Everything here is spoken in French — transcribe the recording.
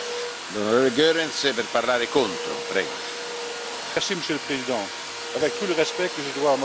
Monsieur le Président, avec tout le respect que je dois à Mme Arena, je ne peux pas la suivre dans les conclusions qu'elle vient de vous présenter.